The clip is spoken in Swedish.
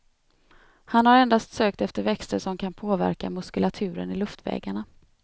Han har endast sökt efter växter som kan påverka muskulaturen i luftvägarna.